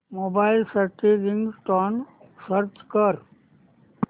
mobile साठी ringtone search कर